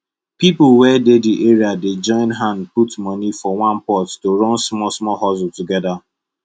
people wey dey the area dey join hand put money for one pot to run smallsmall hustle together